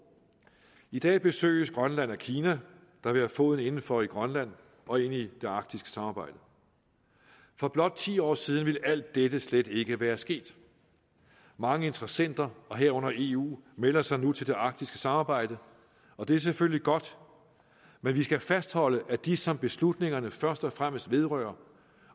i dag besøges grønland af kina der vil have foden inden for i grønland og ind i det arktiske samarbejde for blot ti år siden ville alt dette slet ikke være sket mange interessenter herunder eu melder sig nu til det arktiske samarbejde og det er selvfølgelig godt men vi skal fastholde at de som beslutningerne først og fremmest vedrører